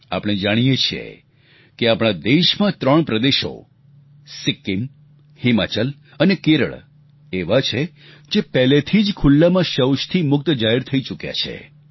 આપણે જાણીએ છીએ કે આપણા દેશમાં ત્રણ પ્રદેશો સિક્કીમ હિમાચલ અને કેરળ એવા છે જે પહેલેથી જ ખુલ્લામાં શૌચથી મુક્ત જાહેર થઈ ચૂક્યા છે